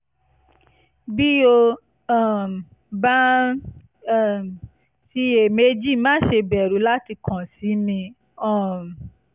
bí o um bá ń um ṣiyèméjì má ṣe bẹ̀rù láti kàn sí mi um